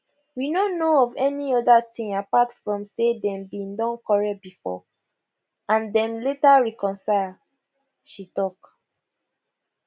we no know of any oda tin apart from say dem bin don quarrel before and dem later reconcile she tok